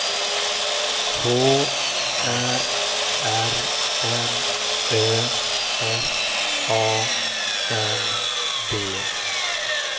H Ä R N Ö S A N D